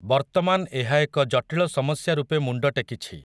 ବର୍ତ୍ତମାନ୍ ଏହା ଏକ ଜଟିଳ ସମସ୍ୟା ରୂପେ ମୁଣ୍ଡ ଟେକିଛି ।